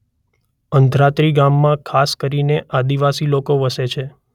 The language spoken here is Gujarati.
અંધાત્રી ગામમાં ખાસ કરીને આદિવાસી લોકો વસે છે.